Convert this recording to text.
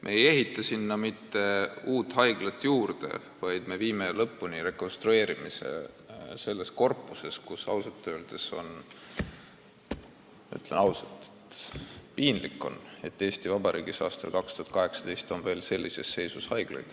Me ei ehita sinna mitte uut haiglat juurde, vaid viime lõpuni rekonstrueerimise selles korpuses, kus ausalt öeldes on piinlik, et Eesti Vabariigis aastal 2018 on veel sellises seisus haiglaid.